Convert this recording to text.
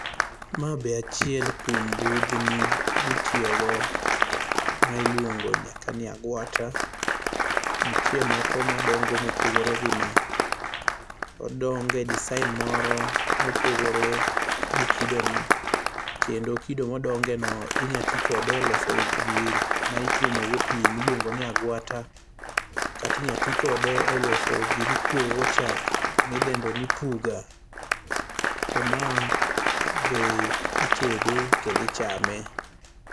Ma be achiel kuom budhni mitiyogo. Ma iluongo nyaka ni agwata. Nitie moko madongo mopogore gi ma. Odongo e design moro mopogore gi kido ni. Kendo kido modonge no inya ti kode e loso gima ituomo go pii miluongo ni agwata, kata inya ti kode e loso gima ikuogo go chak midendo ni puga. To ma be itede kendo ichame.